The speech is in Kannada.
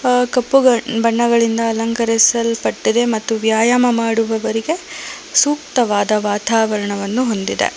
ಆ ಕಪ್ಪುಗ ಬಣ್ಣಗಳಿಂದ ಅಲಂಕರಿಸಲ್ಪಟ್ಟಿದೆ ಮತ್ತು ವ್ಯಾಯಾಮ ಮಾಡುವವರಿಗೆ ಸೂಕ್ತವಾದ ವಾತಾವರಣವನ್ನು ಹೊಂದಿದೆ.